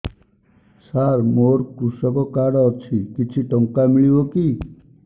ସାର ମୋର୍ କୃଷକ କାର୍ଡ ଅଛି କିଛି ଟଙ୍କା ମିଳିବ କି